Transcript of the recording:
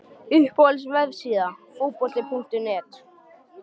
Uppáhalds vefsíða? Fótbolti.net